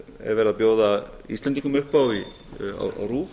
er verið að bjóða íslendingum upp á á rúv